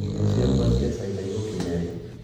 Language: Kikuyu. Irio ciakwa cia China igũkinya rĩ?